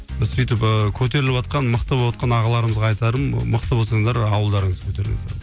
сөйтіп ы көтеріліватқан мықты боватқан ағаларымызға айтарым мықты болсаңыздар ауылдарыңызды көтеріңіздер